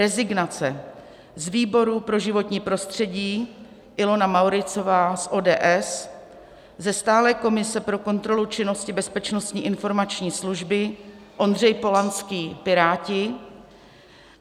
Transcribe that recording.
Rezignace: z výboru pro životní prostředí Ilona Mauritzová z ODS, ze stálé komise pro kontrolu činnosti Bezpečnostní informační služby Ondřej Polanský, Piráti.